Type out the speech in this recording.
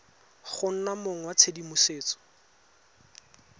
go nna mong wa tshedimosetso